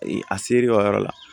A seri o yɔrɔ la